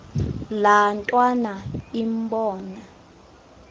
laa ntwana imbona